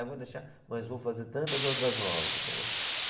É, vou deixar, mas vou fazer tantas outras novas, entendeu?